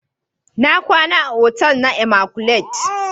Na kwana a otel na "immaculate "